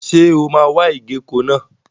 Ṣé o máa wa ìgéko náà?